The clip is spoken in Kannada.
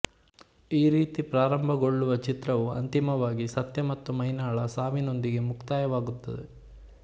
ಈ ರೀತಿ ಪ್ರಾರಂಭಗಳ್ಳುವ ಚಿತ್ರವು ಅಂತಿಮವಾಗಿ ಸತ್ಯ ಮತ್ತು ಮೈನಾಳ ಸಾವಿನೊಂದಿಗೆ ಮುಕ್ತಾಯವಾಗುತ್ತದೆ